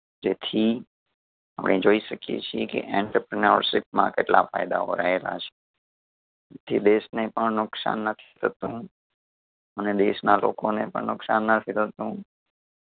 જેથી આપણે જોઈ શકીએ છીએ કે entrepreneurship માં કેટલા ફાયદાઓ રહેલા છે. થી દેશ ને પણ નુકસાન નથી થતું અને દેશના લોકોને પણ નુકસાન નથી થતું.